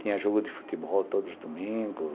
Tinha jogo de futebol todos os domingos.